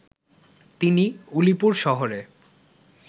তিনি উলিপুর শহরে